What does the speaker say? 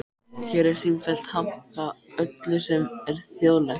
Hér er sífellt hampað öllu sem er þjóðlegt.